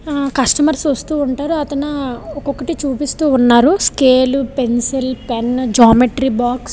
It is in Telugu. ఆ కస్టమర్స్ వస్తూ ఉంటారు. అతను ఒక్కొక్కటి చూపిస్తూ ఉన్నారు. Scale pencil pen geometry box --